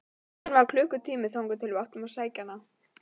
Enn var klukkutími þangað til við áttum að sækja hana.